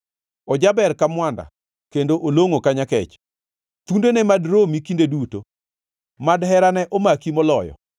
Ojaber ka mwanda, kendo olongʼo ka nyakech, thundene mad romi kinde duto, mad herane omaki moloyo.